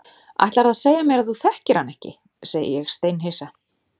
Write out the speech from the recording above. Ætlarðu að segja mér að þú þekkir hana ekki, segi ég steinhissa.